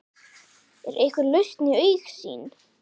Er einhver lausn í augsýn?